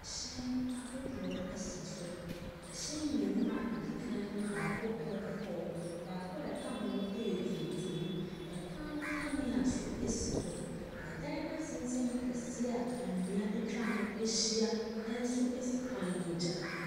ℇhyɛn ahodoɔ sa so. ℇhyɛn mmienu a ɛdi kan no baako yɛ kɔkɔɔ, baako a ɛka ho no yɛ tuntum. ℇkwan ho kaneɛ nso si hɔ. ℇdan atenten kɛseɛ a nnua atwa ho ahyia nso si kwan no agya.